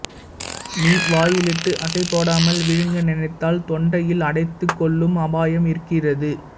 me வாயிலிட்டு அசைபோடாமல் விழுங்க நினைத்தால் தொண்டையில் அடைத்துக் கொள்ளும் அபாயம் இருக்கிறது